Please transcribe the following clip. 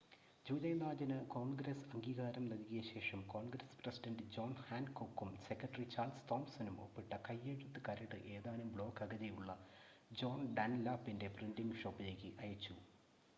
July 4-ന് Congress അംഗീകാരം നൽകിയ ശേഷം കോൺഗ്രസ് പ്രസിഡൻഡ് ജോൺ ഹാൻകോക്കും സെക്രട്ടറി ചാൾസ് തോംസണും ഒപ്പിട്ട കൈയ്യെഴുത്ത് കരട് ഏതാനും ബ്ലോക്ക് അകലെയുള്ള ജോൺ ഡൺലാപ്പിൻ്റെ പ്രിൻ്റിംഗ് ഷോപ്പിലേക്ക് അയച്ചു